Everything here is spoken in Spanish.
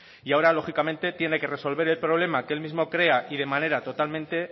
y ahora lógicamente tiene que resolver el problema que el mismo crea y de manera totalmente